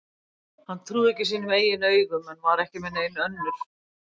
Hann trúði ekki sínum eigin augum en var ekki með nein önnur.